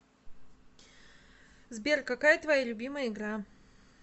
сбер какая твоя любимая игра